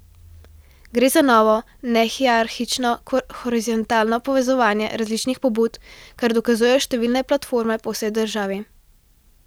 Gre za novo, nehierarhično horizontalno povezovanje različnih pobud, kar dokazujejo številne platforme po vsej državi.